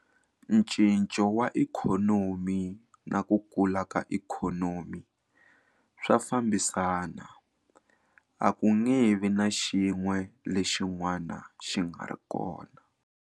Ncinco wa ikhonomi na ku kula ka ikhonomi swa fambisana. A ku nge vi na xin'we lexin'wana xi nga ri kona.